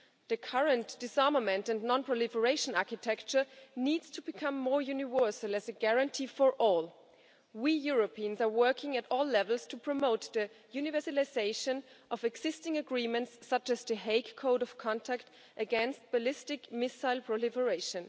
The current disarmament and non proliferation architecture needs to become more universal as a guarantee for all. We Europeans are working at all levels to promote the universalisation of existing agreements, such as The Hague Code of Conduct against ballistic missile proliferation.